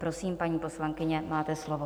Prosím, paní poslankyně, máte slovo.